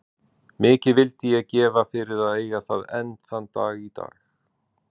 Mikið vildi ég gefa fyrir að eiga það enn þann dag í dag.